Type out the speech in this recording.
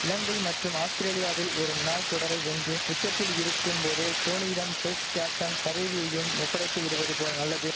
இலங்கை மற்றும் ஆஸ்திரேலியாவில் ஒரு நாள் தொடரை வென்று உச்சத்தில் இருக்கும் போதே தோனியிடம் டெஸ்ட் கேப்டன் பதவியையும் ஒப்படைத்துவிடுவது போல் நல்லது